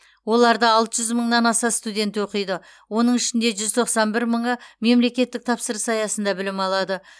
оларда алты жүз мыңнан аса студент оқиды оның ішінде жүз тоқсан бір мыңы мемлекеттік тапсырыс аясында білім алады